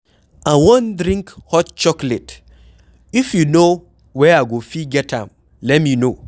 I wan drink hot chocolate, if you know where I go fit get am let me know